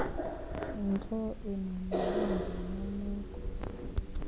ntsho emamele ngenyameko